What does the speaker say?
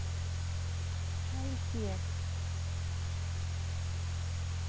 Held ég.